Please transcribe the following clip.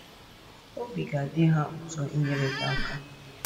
Obi ga - adị ha ụtọ inyere gị aka.